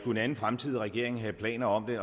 en anden fremtidig regering have planer om det